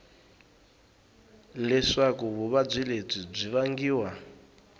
leswaku vuvabyi lebyi byi vangiwa